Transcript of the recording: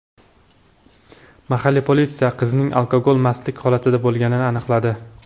Mahalliy politsiya qizning alkogol mastlik holatida bo‘lganini aniqladi.